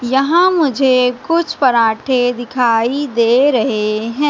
यहां मुझे कुछ पराठे दिखाई दे रहे हैं।